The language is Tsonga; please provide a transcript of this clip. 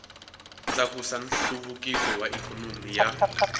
tlakusa nhluvukiso wa ikhonomi ya